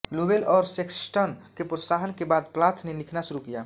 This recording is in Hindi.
लोवेल और सेक्सटन के प्रोत्साहन के बाद प्लाथ ने लिखना शुरू किया